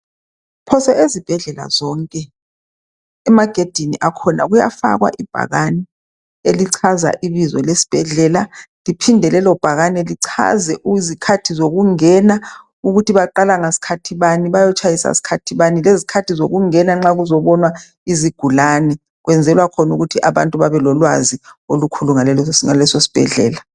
Phose ezibhedlela zonke emagedeni akhona kuyafakwa ibhakane elichaza ibizo lesibhedlela liphinde lelobhakane lichaze izikhathi zokungena ukuthi baqala ngaskhathi bani bayotshayisa skhathi bani , lezikhathi zokungena nxa kuzobonwa izigulane , kwenzelwa khona ukuthi abantu babe lolwazi olukhulu ngalesisibhedlela